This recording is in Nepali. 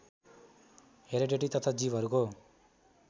हेरेडिटी तथा जीवहरूको